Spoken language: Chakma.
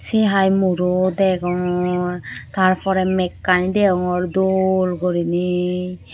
sey hai muro degongor tar porey mekkani deongor dol guriney.